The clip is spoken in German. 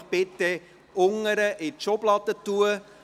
Ich bitte Sie, diese in den Pultschubladen zu versorgen.